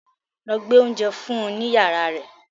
Lọ gbé oúnjẹ fún un ní yàrá rẹ̀